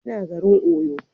Ya na garin Oyo